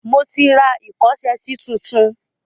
Mo ti ra ìkọ́ṣẹsí tuntun.